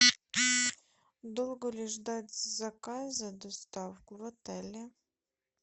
долго ли ждать заказа доставку в отеле